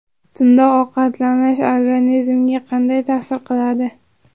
Tunda ovqatlanish organizmga qanday ta’sir qiladi?.